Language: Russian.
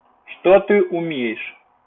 что ты умеешь